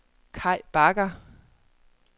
Kai Bagger